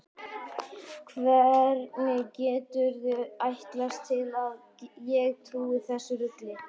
Hvernig geturðu ætlast til að ég trúi þessu rugli?